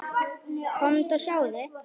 Komdu og sjáðu!